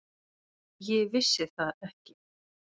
Ég vissi það ekki.